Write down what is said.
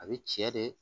A bɛ cɛ de